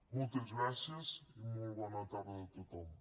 moltes gràcies i molt bona tarda a tothom